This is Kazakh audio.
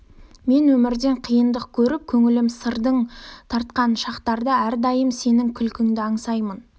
мен өмірден қиындық көріп көңілім сырдаң тартқан шақтарда әрдайым сенің күлкіңді аңсаймын